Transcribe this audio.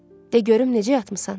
De görüm necə yatmısan?